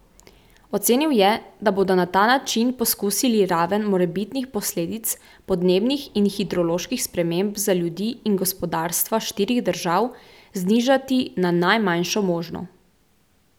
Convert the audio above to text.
Ocenil je, da bodo na ta način poskusili raven morebitnih posledic podnebnih in hidroloških sprememb za ljudi in gospodarstva štirih držav znižati na najmanjšo možno.